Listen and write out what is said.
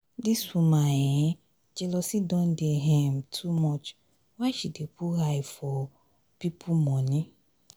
dis woman um jealousy don dey um too much why she dey put eye for um pipu for um pipu moni?